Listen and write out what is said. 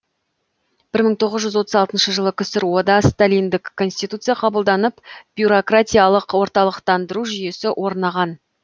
бір мың тоғыз жүз отыз алтыншы жылы ксро да сталиндік конституция қабылданып бюрократиялық орталықтандыру жүйесі орнаған